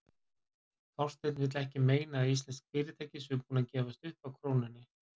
Þorsteinn vill ekki meina að íslensk fyrirtæki séu búin að gefast upp á krónunni?